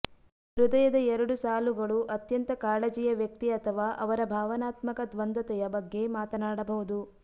ಹೃದಯದ ಎರಡು ಸಾಲುಗಳು ಅತ್ಯಂತ ಕಾಳಜಿಯ ವ್ಯಕ್ತಿ ಅಥವಾ ಅವರ ಭಾವನಾತ್ಮಕ ದ್ವಂದ್ವತೆಯ ಬಗ್ಗೆ ಮಾತನಾಡಬಹುದು